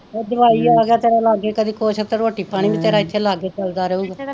ਜਵਾਈ ਆ ਗਿਆ ਲਾਗੇ ਕਦੀ ਕੁੱਛ ਤੇ ਰੋਟੀ ਪਾਣੀ ਵੀ ਇੱਥੇ ਤੇਰਾ ਲਾਗੇ ਚੱਲਦਾ ਰਹੁਗਾ,